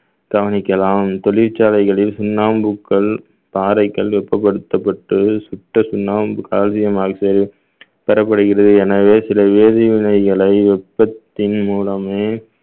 கவனிக்கலாம் தொழிற்சாலைகளில் சுண்ணாம்புக்கல் பாறைக்கல் வெப்பப்படுத்தப்பட்டு சுத்த சுண்ணாம்பு calcium oxide பெறப்படுகிறது எனவே சில வேதிவினைகளை வெப்பத்தின் மூலமே